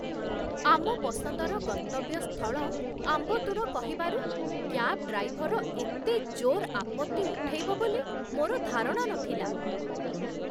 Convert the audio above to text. ଆମ ପସନ୍ଦର ଗନ୍ତବ୍ୟ ସ୍ଥଳ ଆମ୍ବତ୍ତୁର କହିବାରୁ, କ୍ୟାବ୍ ଡ୍ରାଇଭର ଏତେ ଜୋର୍ ଆପତ୍ତି ଉଠେଇବ ବୋଲି ମୋର ଧାରଣା ନଥିଲା।